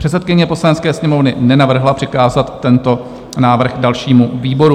Předsedkyně Poslanecké sněmovny nenavrhla přikázat tento návrh dalšímu výboru.